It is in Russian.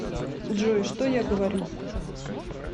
джой что я говорю